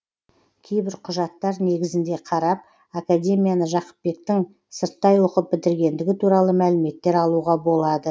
кейбір құжаттар негізінде қарап академияны жақыпбектің сырттай оқып бітіргендігі туралы мәліметтер алуға болады